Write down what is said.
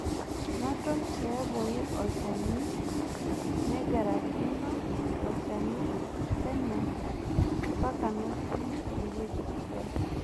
Naton tiabori olchani naigarakino ilo shani peno mpaka natum ewueji sidai